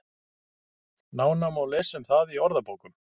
Nánar má lesa um það í orðabókum.